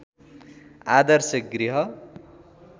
आदर्श गृह